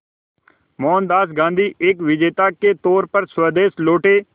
मोहनदास गांधी एक विजेता के तौर पर स्वदेश लौटे